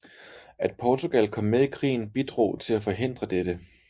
At Portugal kom med i krigen bidrog til at forhindre dette